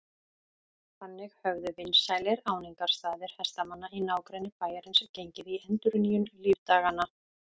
Þannig höfðu vinsælir áningarstaðir hestamanna í nágrenni bæjarins gengið í endurnýjung lífdaganna.